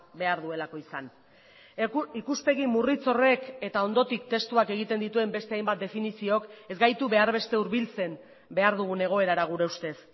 behar duelako izan ikuspegi murritz horrek eta ondotik testuak egiten dituen beste hainbat definiziok ez gaitu behar beste hurbiltzen behar dugun egoerara gure ustez